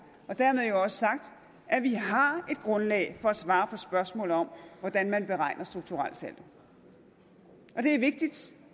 og dermed jo også sagt at vi har et grundlag for at svare på spørgsmål om hvordan man beregner strukturelsaldo det er vigtigt